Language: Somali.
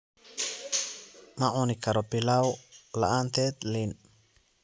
Ma cuni karo pilau la'aanteed liin